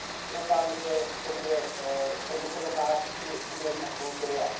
Doufám, že to bude zhodnoceno v září při udělení absolutoria.